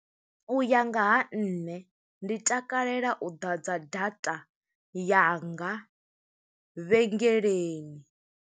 U ya nga ha nṋe, ndi takalela u ḓadza data yanga vhengeleni.